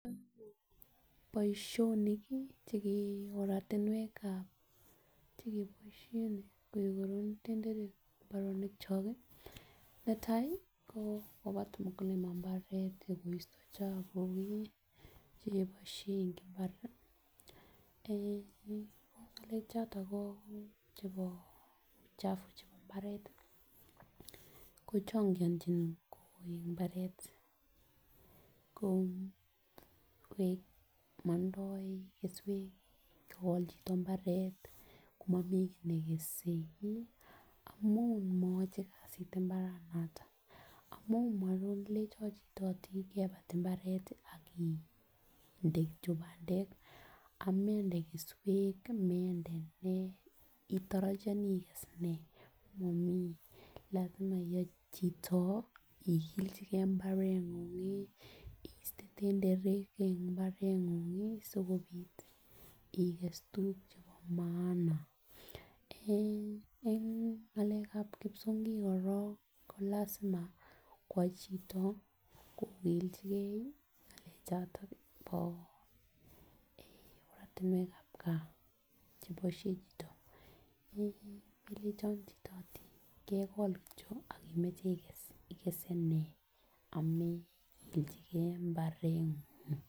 Boishonik kii cheke oratunwekab chekeboishen kekonori tenderek en imbaranik kyok kii netai ko kobat mukulima imbaret koisto chebuk kii cheiboishe en imbar eeh ko ngalek choto ko chebo uchafu chebo imbaret kochongiochin kowech imbaret ko koik kondoik keswek kogol chito imbaret komomii kii nekese amun koyochi kasit imbaranoton amun makoi ilenjon chito kepet imbaret tii ak iinde kityok pandek amended keswek mende nee itorojinii ikes nee momii lasima iyai chito igiljigee imbarengungi iste tenderek en imbarengungi sikopit ikes tukuk chebo maana. Eeh en ngalekab kipsongik korong kolasima kwak chito kokiljigee ngalek choton bo eeh oratunwekab gaa cheboishen chito eeh melenchon chito kegol kityok ak imoche Ikes ikese nee amekiljigee imbarengung.